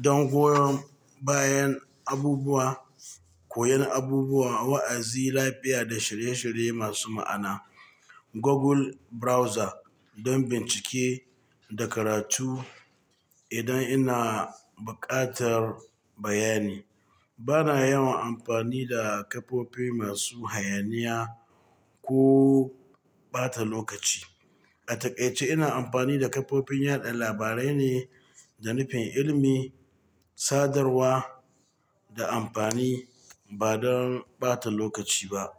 don goyon bayan abubuwa, koyon abubuwa, wa'azi, lafiya da shirye-shirye masu ma'ana. Google Browser don bincike da karatu idan ina buƙatar bayani. Bana yawan amfani da kafofi masu hayaniya ko ɓata lokaci. A taƙaice ina amfani da kafofin yada labarai ne da nufin ilimi, sadarwa da amfani ba don ɓata lokaci ba.